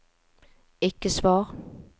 ikke svar